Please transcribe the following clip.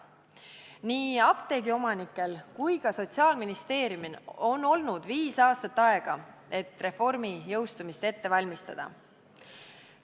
Nii apteegiomanikel kui ka Sotsiaalministeeriumil on olnud viis aastat aega, et reformi jõustumist ette valmistada.